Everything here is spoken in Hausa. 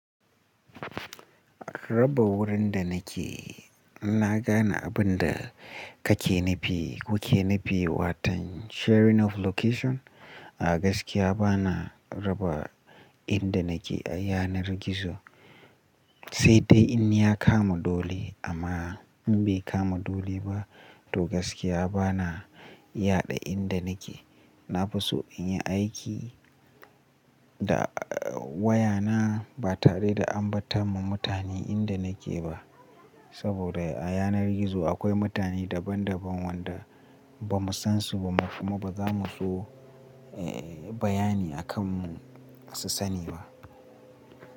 Raba wurin da nake in na gane abin da kake nufi kuke nufi watan sharing of location. A gaskiya bana raba inda nake a yanar gizo, sai dai in ya kama dole amma in bai kama dole ba to gaskiya bana yaɗa inda nake. Nafiso in yi aiki da wayana ba tare da ambata ma mutane inda nake ba. Saboda a yanar gizo akwai mutane daban daban wanda ba mu san su ba kuma ba za mu so, eh, bayani akan mu su sani ba.